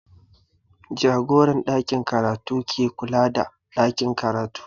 Jagoran ɗakin karatu ke kula da ɗakin karatu